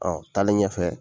Ɔ taalen ɲɛfɛ